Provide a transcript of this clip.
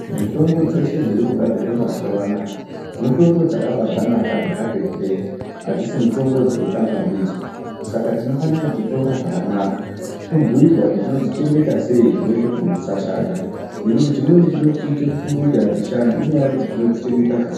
Mitombo dzeshe dziri kugadzirwa mazuwaanaya mitombo dzakabaanaka dzakati hwee adzisi mitombo dzekutamba ndidzo saka tinofana kudzitora zvakanaka tobhiirwa kuti tinodzichengeta sei zvinoita kuti dzisashata nekuti chimweni chinoti tiite kufunge kuti hadzishandi inyaya yekuti tinodzichengeta zvisizvo.